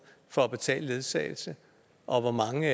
for at betale ledsagelse og hvor mange